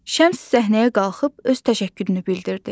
Şəms səhnəyə qalxıb öz təşəkkürünü bildirdi.